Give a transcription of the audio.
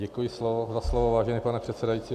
Děkuji za slovo, vážený pane předsedající.